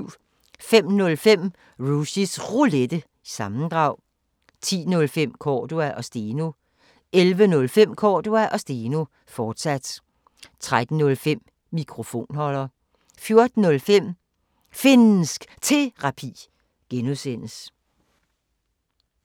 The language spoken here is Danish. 05:05: Rushys Roulette – sammendrag 10:05: Cordua & Steno 11:05: Cordua & Steno, fortsat 13:05: Mikrofonholder 14:05: Finnsk Terapi (G)